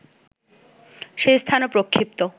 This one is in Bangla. সে স্থানও প্রক্ষিপ্ত